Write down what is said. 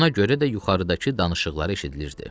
Buna görə də yuxarıdakı danışıqları eşidilirdi.